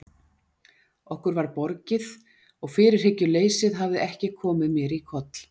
Okkur var borgið og fyrirhyggjuleysið hafði ekki komið mér í koll.